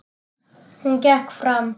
Hún gekk fram.